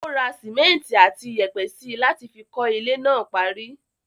Ó ra simẹnti àti iyẹ̀pẹ̀ síi láti fi kọ́ ilé náà parí.